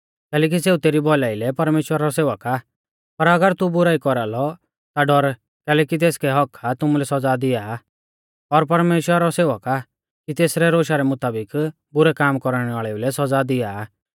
कैलैकि सेऊ तेरी भौलाई लै परमेश्‍वरा रौ सेवक आ पर अगर तू बुराई कौरालौ ता डर कैलैकि तेसकै हक्क्क आ कि तुमुलै सौज़ा दिआ और परमेश्‍वरा रौ सेवक आ कि तेसरै रोशा रै मुताबिक बुरै काम कौरणै वाल़ेउ लै सौज़ा दिया